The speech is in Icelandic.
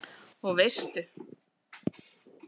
Og veistu.